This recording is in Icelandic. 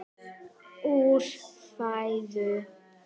úr fæðu